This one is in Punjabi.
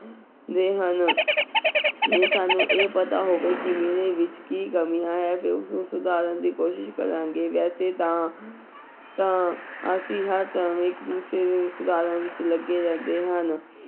ਦੇ ਹਨ ਜੇ ਸਾਨੂੰ ਇਹ ਪਤਾ ਹੋਵੇ ਕਿ ਮੇਰੇ ਵਿੱਚ ਕੀ ਕਮੀਆਂ ਹੈ ਤੇ ਉਸਨੂੰ ਸੁਧਾਰਨ ਦੀ ਕੋਸ਼ਿਸ਼ ਕਰਾਂਗੇ ਵੈਸੇ ਤਾਂ ਤਾਂ ਅਸੀਂ ਹਰ time ਇੱਕ ਦੂਸਰੇ ਨੂੰ ਸੁਧਾਰਨ ਵਿੱਚ ਲੱਗੇ ਰਹਿੰਦੇ ਹਨ।